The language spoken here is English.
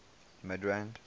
midrand